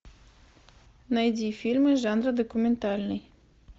найди фильмы жанра документальный